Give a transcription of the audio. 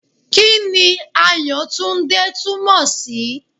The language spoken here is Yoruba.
Kí ni Àyàtúndé túmọ̀ sí?